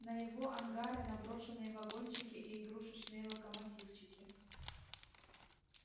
на его ангары на брошенные вагончики и игрушечные локомотивчики